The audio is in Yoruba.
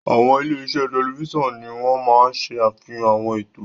Àwọn ilé-iṣẹ́ tẹlifíṣàn ni wọ́n máa ń ṣe àfihàn àwọn ètò.